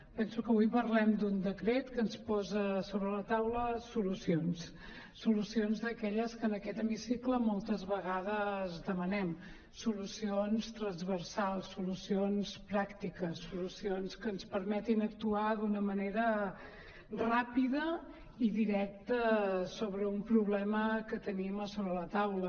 penso que avui parlem d’un decret que ens posa sobre la taula solucions solucions d’aquelles que en aquest hemicicle moltes vegades demanem solucions transversals solucions pràctiques solucions que ens permetin actuar d’una manera ràpida i directa sobre un problema que tenim a sobre la taula